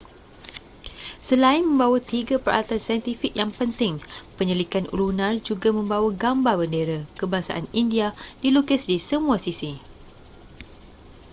selain membawa tiga peralatan saintifik yang penting penyelidikan lunar juga membawa gambar bendera kebangsaan india dilukis di semua sisi